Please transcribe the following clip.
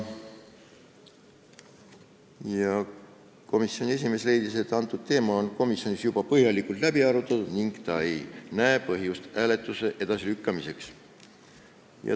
Komisjoni esimees leidis, et see teema on komisjonis põhjalikult läbi arutatud ning ta ei näe põhjust hääletuse edasilükkamiseks.